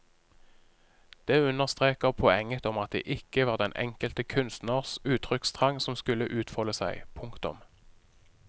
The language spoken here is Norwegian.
Det understreker poenget om at det ikke var den enkelte kunstners uttrykkstrang som skulle utfolde seg. punktum